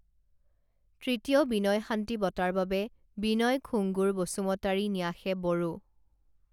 তৃতীয় বিনয় শান্তি বঁটাৰ বাবে বিনয় খুংগুৰ বসুমতাৰী ন্যাসে বড়ো